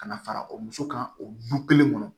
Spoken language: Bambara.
Ka na fara o muso kan o du kelen kɔnɔ